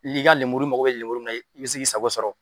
I b'i ka lemuru, i mako bɛ lemuru min na, i bɛ se k'i sago sɔrɔ.